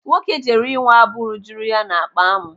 Nwoke jere ịwa abụ rujuru ya n'akpa amụ.